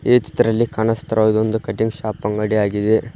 ಈ ಚಿತ್ರಲ್ಲಿ ಕಾಣಸ್ತಿರುದ ಒಂದು ಕಟಿಂಗ್ ಶಾಪ್ ಅಂಗಡಿ ಆಗಿದೆ.